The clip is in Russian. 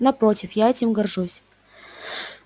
напротив я этим горжусь